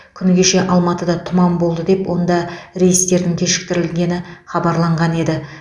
күні кеше алматыда тұман болды деп онда рейстердің кешіктірілгені хабарланған еді